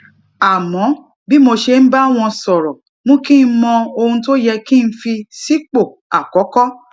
àmó bí mo ṣe ń bá wọn sòrò mú kí n mọ ohun tó yẹ kí n fi sípò àkókó